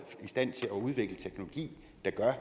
i stand til at udvikle en teknologi der gør